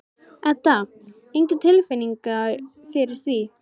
Edda: Enga tilfinningu fyrir því?